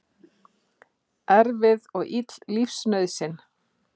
Erfið og ill lífsnauðsyn.